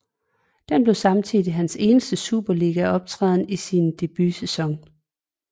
Det blev samtidig hans eneste superligaoptræden i sin debutsæson